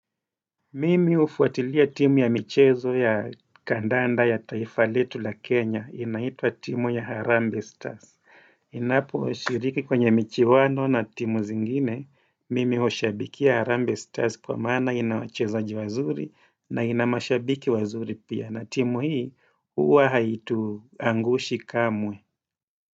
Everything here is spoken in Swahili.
Mimi hufuatilia timu ya michezo ya kandanda ya taifa letu la Kenya, inaitwa timu ya Harambee Stars. Ninapo ushiriki kwenye michiwano na timu zingine, mimi hushabiki Harambee Stars kwa maana ina wachezaji wazuri na ina mashabiki wazuri pia. Na timu hii, uwa haituangushi kamwe.